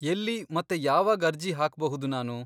ಎಲ್ಲಿ ಮತ್ತೆ ಯಾವಾಗ್ ಅರ್ಜಿ ಹಾಕ್ಬಹುದು ನಾನು?